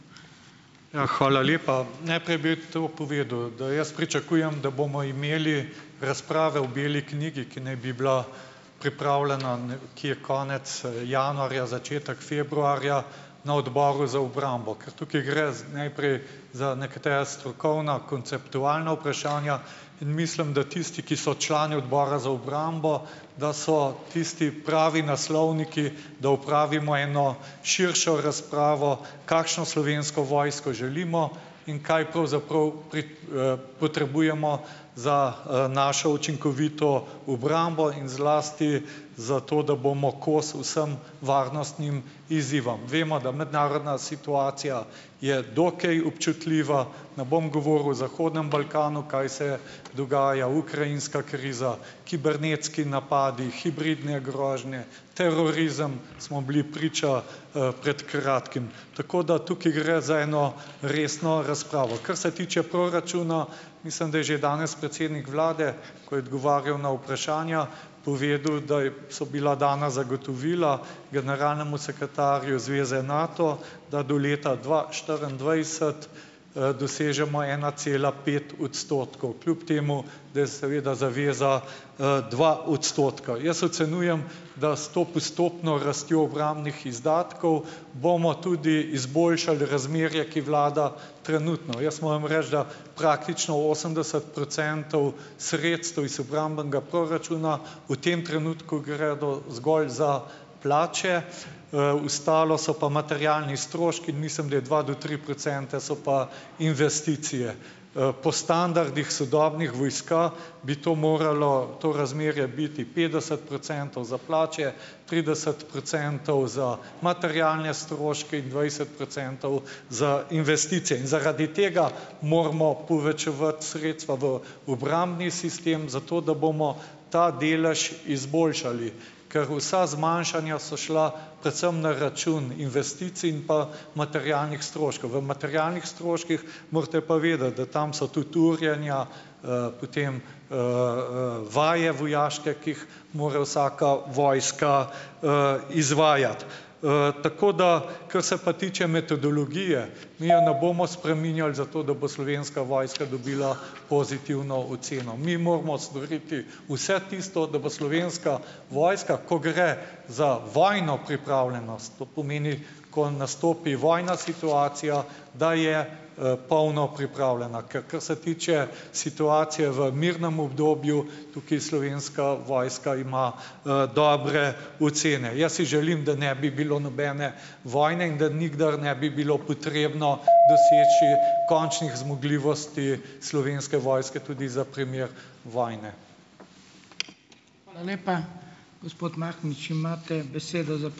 Ja, hvala lepa. Najprej bi to povedal, da jaz pričakujem, da bomo imeli razprave o beli knjigi, ki naj bi bila pripravljena nekje konec, januarja, začetek februarja na Odboru za obrambo, ker tukaj gre z najprej za nekatera strokovna, konceptualna vprašanja, in mislim, da tisti, ki so člani Odbora za obrambo, da so tisti pravi naslovniki, da opravimo eno širšo razpravo, kakšno Slovensko vojsko želimo in kaj pravzaprav pri, potrebujemo za, našo učinkovito obrambo in zlasti za to, da bomo kos vsem varnostnim izzivom. Vemo, da mednarodna situacija je dokaj občutljiva, ne bom govoril o zahodnem Balkanu, kaj se dogaja, ukrajinska kriza, kibernetski napadi, hibridne grožnje, terorizem, smo bili priča, pred kratkim. Tako da tukaj gre za eno resno razpravo. Kar se tiče proračuna, mislim, da je že danes predsednik vlade, ko je odgovarjal na vprašanja, povedal, da je, so bila dana zagotovila generalnemu sekretarju zveze Nato, da do leta dva štiriindvajset, dosežemo ena cela pet odstotkov. Kljub temu da je seveda zaveza, dva odstotka. Jaz ocenjujem, da s to postopno rastjo obrambnih izdatkov bomo tudi izboljšali razmerje, ki vlada trenutno. Jaz moram reči, da praktično osemdeset procentov sredstev iz obrambnega proračuna v tem trenutku gre zgolj za plače, ostalo so pa materialni stroški in mislim, da je dva do tri procente so pa investicije. Po standardih sodobnih vojska, bi to moralo, to razmerje biti petdeset procentov za plače, trideset procentov za materialne stroške in dvajset procentov za investicije. In zaradi tega moramo povečevati sredstva v obrambni sistem zato, da bomo ta delež izboljšali. Ker vsa zmanjšanja so šla predvsem na račun investicij in pa materialnih stroškov. V materialnih stroških morate pa vedeti, da tam so tudi urjenja, potem, vaje, vojaške, ki jih more vsaka vojska, izvajati, tako da, kar se pa tiče metodologije, mi je ne bomo spreminjali zato, da bo Slovenska vojska dobila pozitivno oceno. Mi moramo storiti vse tisto, da bo Slovenska vojska, ko gre za vojno pripravljenost, to pomeni, ko nastopi vojna situacija, da je, polno pripravljena. Ker kar se tiče situacije v mirnem obdobju, tukaj Slovenska vojska ima, dobre ocene. Jaz si želim, da ne bi bilo nobene vojne in da nikdar ne bi bilo potrebno doseči končnih zmogljivosti Slovenske vojske tudi za primer vojne.